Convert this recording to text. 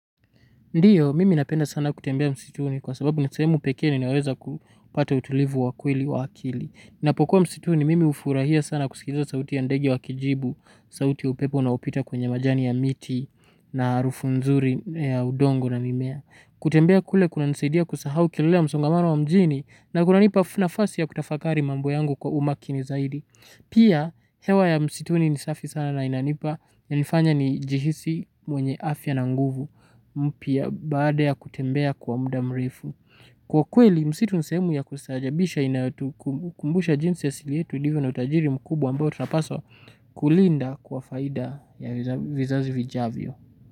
Ndiyo, mimi napenda sana kutembea msituni kwa sababu ni sehemu pekee ninaweza kupata utulivu wa kweli wa akili. Ninapokua msituni, mimi hufurahia sana kusikiza sauti ya ndege wakijibu, sauti upepo unaopita kwenye majani ya miti na harufu nzuri ya udongo na mimea. Kutembea kule kuna nisaidia kusahau kelelea ya msongamano wa mjini na kuna nipa nafasi ya kutafakari mambo yangu kwa umakini zaidi. Pia hewa ya msituni ni safi sana na inanipa inanifanya ni jihisi mwenye afya na nguvu mpya baada ya kutembea kwa muda mrefu. Kwa kweli msitu ni sehemu ya kustaajabisha inayotu kumbusha jinsi asili yetu ilivyo na utajiri mkubwa ambao tunapaswa kulinda kwa faida ya vizazi vijavyo.